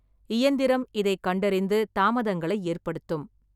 இயந்திரம் இதைக் கண்டறிந்து தாமதங்களை ஏற்படுத்தும்.